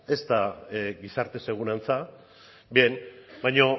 gizarte segurantza baina